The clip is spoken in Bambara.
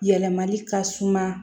Yɛlɛmali ka suma